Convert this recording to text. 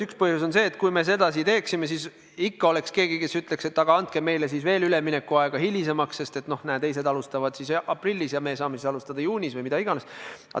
Üks põhjus on see, et kui me sedasi teeksime, siis ikka oleks keegi, kes ütleks, et andke meile veel üleminekuaega – näe, teised alustavad aprillis, aga meie saame alustada juunis või millal iganes.